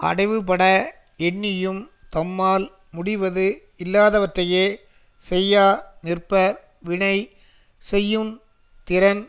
அடைவுபட எண்ணியும் தம்மால் முடிவது இல்லாதவற்றையே செய்யா நிற்பர் வினை செய்யுந் திறன்